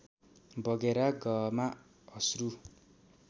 बगेर गहमा अश्रू